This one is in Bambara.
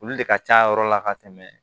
Olu de ka ca yɔrɔ la ka tɛmɛ